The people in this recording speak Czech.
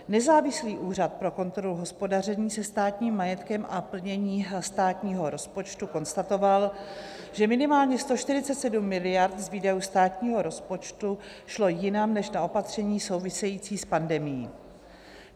Nezávislý úřad pro kontrolu hospodaření se státním majetkem a plnění státního rozpočtu konstatoval, že minimálně 147 miliard z výdajů státního rozpočtu šlo jinam než na opatření související s pandemií.